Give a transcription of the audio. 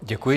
Děkuji.